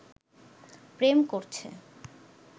প্রেম করছে